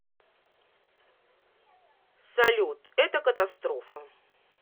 салют это катастрофа